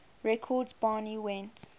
records barney went